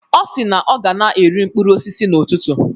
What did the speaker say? Ọ si na ọ ga na-eri mkpụrụ osisi n'ụtụtụ.